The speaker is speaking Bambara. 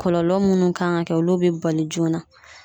Kɔlɔlɔ munnu kan ga kɛ olu be bali joona